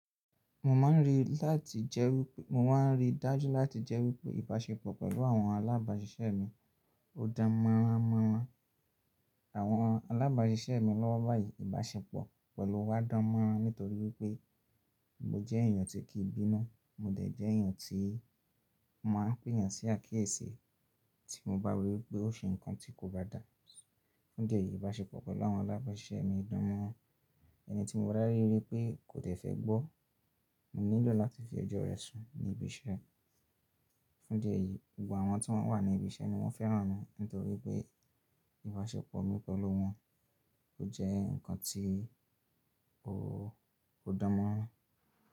Mo máa ń rí láti jẹ́ wípé, mo máa ń rí dájú láti jẹ́ wípé ìbáṣepọ̀ pẹ̀lú àwọn alábàáṣiṣẹ́ mi ò dán mọ́ránmọ́rán. Àwọn alábàáṣiṣẹ́ mi lọ́wọ́ báyìí ìbáṣepọ̀ pẹ̀lú wa dán mọ́rán nítorí wípé mo jẹ́ èèyàn tí kìí bínú, mo dẹ̀ jẹ́ èèyàn tí máa ń pèyàn sí àkíyèsí tí mo bá rí wípé ó ṣe nǹkan tí kò bá dà. Fún ìdí ẹ̀yì ìbáṣepọ̀ pẹ̀lú àwọn alábàáṣiṣẹ́ mi dán mọ́rán. Ẹni tí mo bá rí rí pé kò dẹ̀ fẹ́ gbọ́, mo nílò láti fi ọjọ́ rẹ̀ sùn ní ibi iṣẹ́. Fún ìdí ẹ̀yí, gbogbo àwọn tí wọ́n wà ní ibi iṣẹ́ ni wọ́n fẹ́ràn mi nítorí pé, ìbáṣepọ̀ mi pẹ̀lú wọn ò jẹ́ ǹkan tí ò, ò dán mọ́rán.